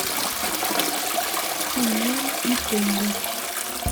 тимон и пумба